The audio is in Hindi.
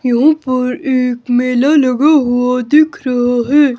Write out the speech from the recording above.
यहां पर एक मेला लगा हुआ दिख रहा है।